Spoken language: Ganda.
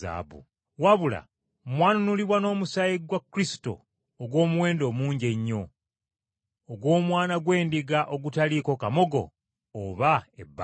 Wabula mwanunulibwa n’omusaayi gwa Kristo ogw’omuwendo omungi ennyo, ogw’omwana gw’endiga ogutaliiko kamogo oba ebbala.